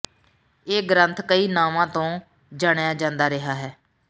ਇਹ ਗ੍ਰੰਥ ਕਈ ਨਾਵਾਂ ਤੋਂ ਜਾਣਿਆ ਜਾਂਦਾ ਰਿਹਾ ਹੈ